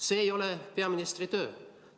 See ei ole peaministri töö.